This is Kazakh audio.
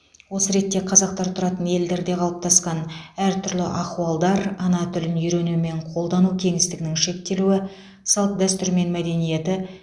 осы ретте қазақтар тұратын елдерде қалыптасқан әртүрлі ахуалдар ана тілін үйрену мен қолдану кеңістігінің шектелуі салт дәстүр мен мәдениеті